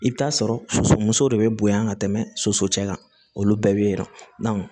I bɛ taa sɔrɔ soso muso de bɛ bonya ka tɛmɛ soso cɛ kan olu bɛɛ bɛ yira